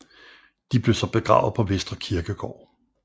De blev så begravet på Vestre Kirkegård